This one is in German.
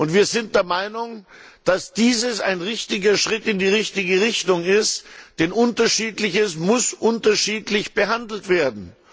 Wir sind der Meinung, dass dies ein Schritt in die richtige Richtung ist, denn Unterschiedliches muss unterschiedlich behandelt werden.